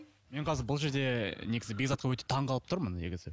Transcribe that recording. мен қазір бұл жерде негізі бекзатқа өте таңғалып тұрмын негізі